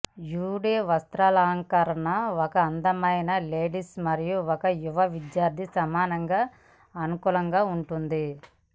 you డే వస్త్రాలంకరణ ఒక అందమైన లేడీస్ మరియు ఒక యువ విద్యార్థి సమానంగా అనుకూలంగా ఉంటుంది